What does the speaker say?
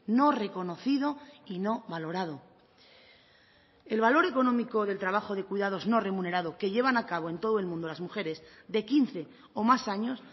no reconocido y no valorado el valor económico del trabajo de cuidados no remunerado que llevan a cabo en todo el mundo las mujeres de quince o más años